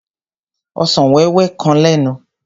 Ọsàn wéwé kan lẹ́nu.